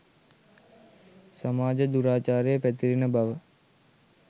සමාජ දුරාචාරය පැතිරෙන බව.